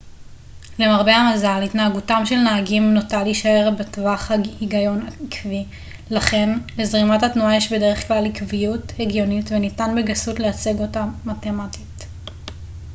למרבה המזל התנהגותם של נהגים נוטה להישאר בטווח הגיון עקבי לכן לזרימת התנועה יש בדרך-כלל עקביות הגיונית וניתן בגסות להציג אותה מתמטית